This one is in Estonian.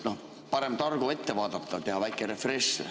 Parem targu ette vaadata, teha väike refresh.